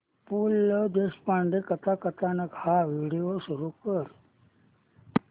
पु ल देशपांडे कथाकथन हा व्हिडिओ सुरू कर